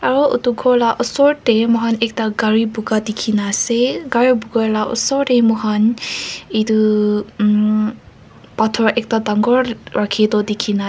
aro etu ghor la osor tey mui kan ekta gari buka dikhina ase gari buka la osor tey moi kan itu mm pathor ekta dangor rakhito dikhina --